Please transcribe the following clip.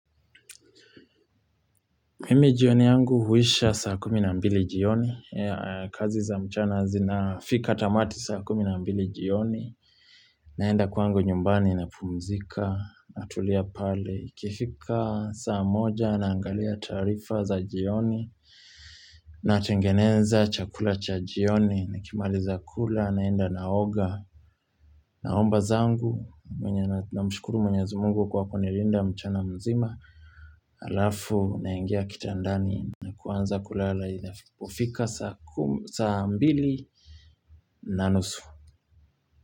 Mimi jioni yangu huisha saa kumi na mbili jioni. Kazi za mchana zina fika tamati saa kumi na mbili jioni. Naenda kwangu nyumbani napumzika. Natulia pale. iKifika saa moja naangalia tarifa za jioni. Natengeneza chakula cha jioni. Nikimaliza kula naenda naoga. Naomba zangu. Mwenye na mshukuru mwenye za mungu kwa kunilinda mchana mzima. Alafu naingia kitandani na kuanza kulala kUfika saa mbili na nusu.